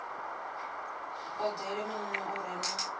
odele muno u re na